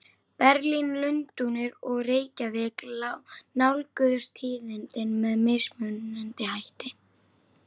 Berlín, Lundúnir og Reykjavík nálguðust tíðindin með mismunandi hætti.